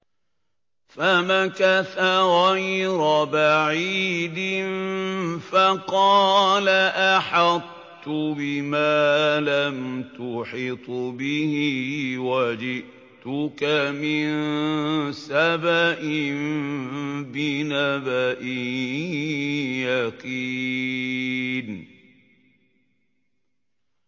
فَمَكَثَ غَيْرَ بَعِيدٍ فَقَالَ أَحَطتُ بِمَا لَمْ تُحِطْ بِهِ وَجِئْتُكَ مِن سَبَإٍ بِنَبَإٍ يَقِينٍ